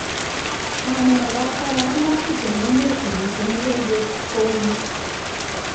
Ngonemakat kolach maskit eng emet komite mogonjwet kouni?